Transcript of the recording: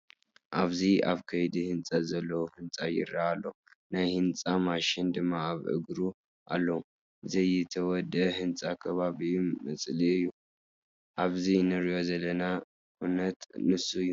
ኣብዚ ኣብ ከይዲ ህንፀት ዘሎ ህንፃ ይርአ ኣሎ፡፡ ናይ ህንፃ ማሽናት ድማ ኣብ እግሩ ኣለዋ፡፡ ዘይተወደአ ህንፃ ከባቢኡ መፅልኢ እዩ፡፡ ኣብዚ ንሪኦ ዘለና ኩነት ንሱ እዩ፡፡